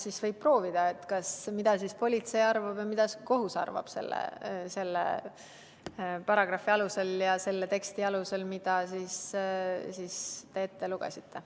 Siis võib proovida, mida politsei ja kohus arvavad selle paragrahvi alusel selle teksti kohta, mille te ette lugesite.